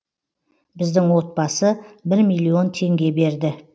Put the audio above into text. біздің отбасы бір миллион теңге берді